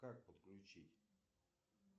как подключить